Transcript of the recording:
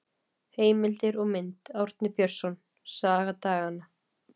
Heimildir og mynd: Árni Björnsson: Saga daganna.